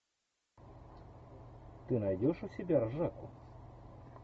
ты найдешь у себя ржаку